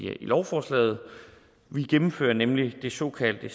lovforslaget vi gennemfører nemlig det såkaldte